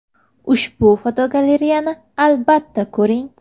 Ushbu fotogalereyani albatta ko‘ring .